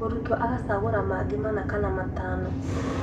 Mũrutwo agacaagũra mangĩ mana kana matano